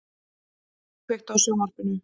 Gumi, kveiktu á sjónvarpinu.